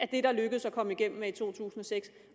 det lykkedes at komme igennem med i to tusind og seks